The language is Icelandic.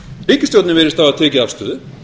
ríkisstjórnin virðist hafa tekið afstöðu